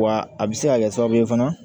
Wa a bɛ se ka kɛ sababu ye fana